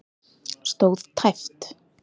Stóð tæpt